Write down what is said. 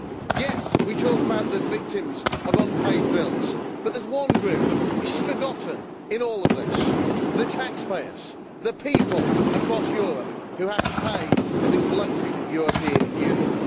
Yes, we talk about the victims of unpaid bills, but there is one group which is forgotten in all of this the taxpayers, the people across Europe who have to pay for this bloated European Union.